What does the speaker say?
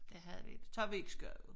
Det havde vi det tager vi ikke skade